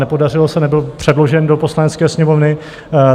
Nepodařilo se, nebyl předložen do Poslanecké sněmovny.